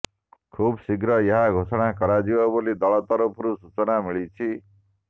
ଖୁବ୍ ଶୀଘ୍ର ଏହା ଘୋଷଣା କରାଯିବ ବୋଲି ଦଳ ତରଫରୁ ସୂଚନା ମିଳିଛି